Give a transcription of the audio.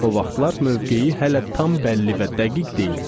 O vaxtlar mövqeyi hələ tam bəlli və dəqiq deyildi.